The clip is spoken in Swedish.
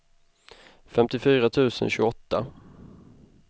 femtiofyra tusen tjugoåtta